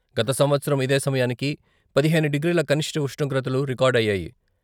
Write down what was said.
గత సంవత్సరం ఇదే సమయానికి పదిహేను డిగ్రీల కనిష్ట ఉష్ణోగ్రతలు రికార్డు అయ్యాయి.